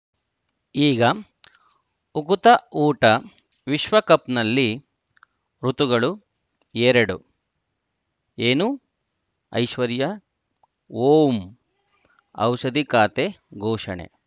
ಈಗ ಉಕುತ ಊಟ ವಿಶ್ವಕಪ್‌ನಲ್ಲಿ ಋತುಗಳು ಎರಡು ಏನು ಐಶ್ವರ್ಯಾ ಓಂ ಔಷಧಿ ಖಾತೆ ಘೋಷಣೆ